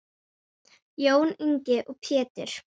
Jón Ingi og Pétur.